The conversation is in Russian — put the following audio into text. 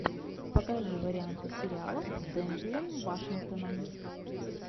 покажи варианты сериалов с дензелом вашингтоном